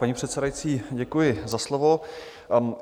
Paní předsedající, děkuji za slovo.